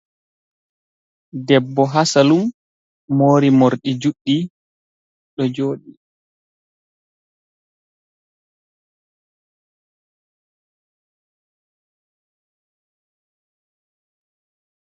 Debbo ha salun mori morɗi juɗɗi ɗo joɗi.